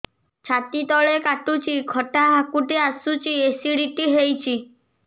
ଛାତି ତଳେ କାଟୁଚି ଖଟା ହାକୁଟି ଆସୁଚି ଏସିଡିଟି ହେଇଚି